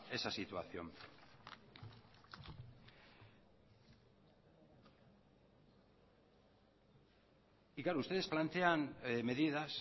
esa situación y claro ustedes plantean medidas